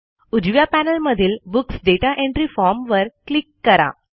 उजव्या पॅनेलमधील books data entry form वर क्लिक करा